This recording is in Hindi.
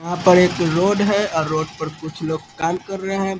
यहाँ पर एक रोड है रोड पर कुछ लोग काम कर रहे हैं।